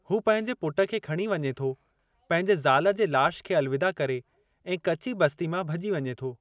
हू पंहिंजे पुटु खे खणी वञे थो पंहिंजे ज़ाल जे लाशु खे अलविदा करे ऐं कची बस्ती मां भॼी वञे थो।